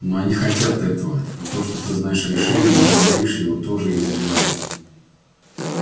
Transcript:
но они хотят этого и то что ты знаешь решение и не говоришь его тоже их задевает